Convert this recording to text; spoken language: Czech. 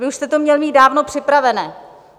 Vy už to jste měl mít dávno připravené.